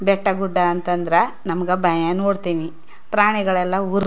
ಬೆಟ್ಟಾಗುಡ್ಡ ಅಂತ ಅಂದ್ರ ನಮ್ಮಗ್ ಭಯ ನೋಡತ್ತೀನಿ ಪ್ರಾಣಿಗಳೆಲ್ಲಾ ಉರ್ --